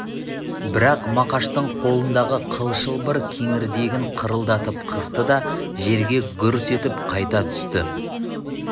бірақ мақаштың қолындағы қыл шылбыр кеңірдегін қырылдатып қысты да жерге гүрс етіп қайта түсті